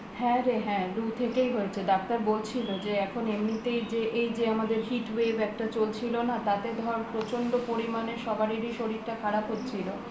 হ্যা রে হ্যা লু থেকেই হয়েছে ডাক্তার বলছিল যে এখন এমনিতে এই যে আমাদের hit wave একটা চলছিল না তাতে ধর প্রচন্ড পরিমানে সবারই শরীরটা খারাপ হচ্ছিলো